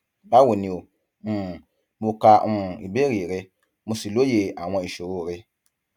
báwo ni o um mo ka um ìbéèrè rẹ mo sì lóye àwọn ìṣòro rẹ